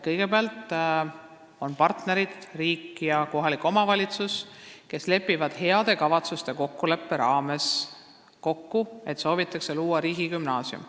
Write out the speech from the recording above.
Kõigepealt lepivad partnerid, riik ja kohalik omavalitsus, heade kavatsuste kokkuleppe raames kokku, et soovitakse luua riigigümnaasium.